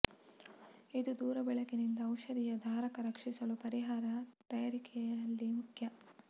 ಇದು ದೂರ ಬೆಳಕಿನಿಂದ ಔಷಧಿಯ ಧಾರಕ ರಕ್ಷಿಸಲು ಪರಿಹಾರ ತಯಾರಿಕೆಯಲ್ಲಿ ಮುಖ್ಯ